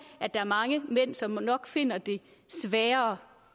at der er mange mænd som nok finder det sværere